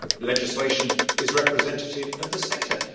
legislation is representative of the sector.